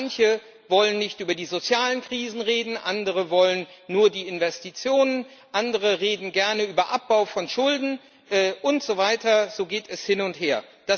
Manche wollen nicht über die sozialen Krisen reden, andere wollen nur die Investitionen, andere reden gerne über den Abbau von Schulden und so weiter, so geht es hin und her.